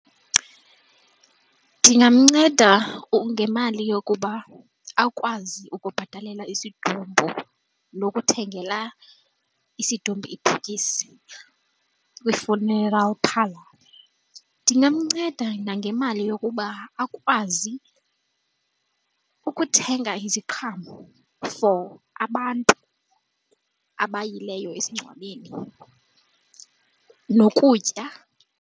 Ndingamnceda ngemali yokuba akwazi ukubhatalela isidumbu nokuthengela isidumbu ibhokisi kwi-funeral parlour. Ndingamnceda nangemali yokuba akwazi ukuthenga iziqhamo for abantu abayileyo esingcwabeni nokutya.